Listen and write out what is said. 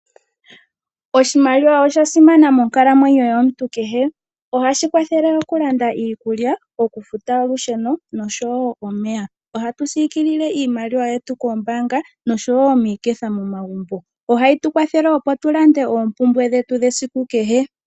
Oshimaliwa osha simana monkalamwenyo kehe ohashi kwathele okulanda iikulya okufuta olusheno nomeya. Ohatu sikilile iimaliwa yetu koombanga nomiketha momagumbo, ohayitu kwathele opo tulande oompumbwe dhetu dhesiku kehe.